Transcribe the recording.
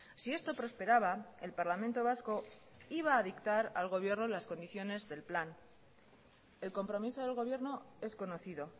si esto prosperaba el parlamento vasco iba a dictar al gobierno las condiciones del plan el compromiso del gobierno es conocido